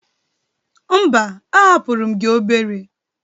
Mba, ahapụrụ m gi obere.